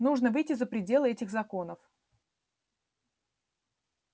нужно выйти за пределы этих законов